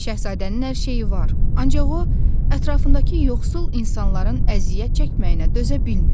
Şahzadənin hər şeyi var, ancaq o ətrafındakı yoxsul insanların əziyyət çəkməyinə dözə bilmir.